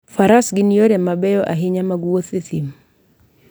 Faras gin yore mabeyo ahinya mag wuoth e thim.